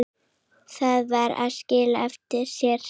Það kann að skila sér.